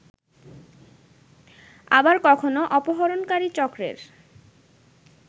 আবার কখনো অপহরণকারী চক্রের